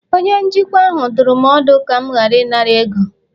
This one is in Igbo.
onye njikwa ahụ dụrụ m ọdụ, ka m ghara ịnara ego